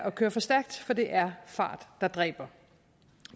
at køre for stærkt for det er fart der dræber